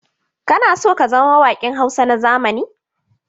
Kana so ka zama mawaƙin Hausa na zamani?